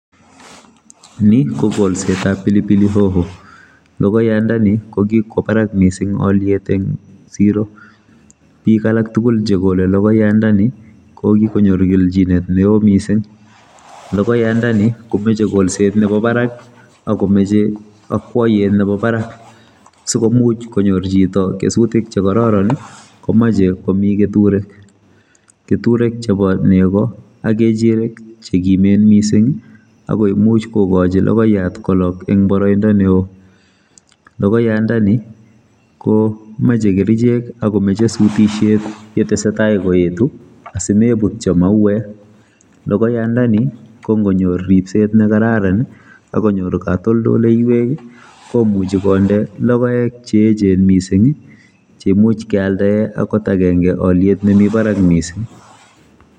Ni kokolsetab pilipilihoho logoyandoni kokwo barak mising oliet eng siro. Bik alak tugul chekole logoyandoni kokikonyor kelchinet neo mising logoyandoni komeche kolset nebo barak akomeche akwoiyet nebo barak sikomuch konyor chito kesutik che kororon komache komi keturek. Keturek chebo nego ak kechirek chekimen mising akomuch kokochi logoyat kolok eng boroindo neo logoyandoni komeche kerichek akomeche sutisiet yetesetai koetu asimebutyo mauwek logoyandoni kongonyor ripset ne kararan akonyor katoldoleiwek komuchi konde logoek cheechen mising cheimuch kealdae angot agenge oliet nemi barak mising.